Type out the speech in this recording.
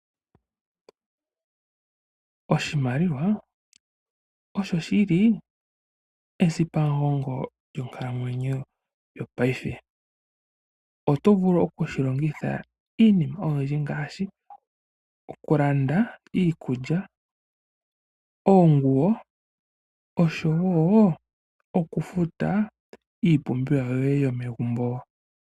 Oshimaliwa osho shili esipamugongo lyonkalamwenyo yopaife. Otovulu okushi longitha iinima oyindji ngaashi okulanda iikulya, oonguwo oshowo okufuta yoye iipumbiwa yomegumbo.